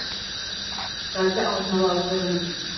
газды алдын ала алып қойған екен